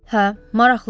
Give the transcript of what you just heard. Hə, maraqlıdır.